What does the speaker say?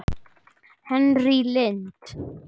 Henný Lind.